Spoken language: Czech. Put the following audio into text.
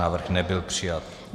Návrh nebyl přijat.